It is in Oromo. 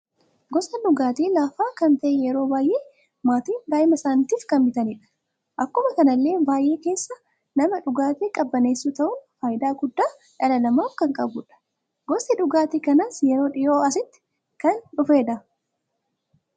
Gosa dhugaati laafaa kan ta'ee yeroo baay'ee maatiin daa'ima isaaniitiif kan bitanidha. Akkuma kanallee baay'ee keessa nama dhugaati qabaneessu ta'un faayida guddaa dhala namaf kan qabudha. Gosti dhugaatii kanaas yeroo dhi'oo asitti kan dhufedha.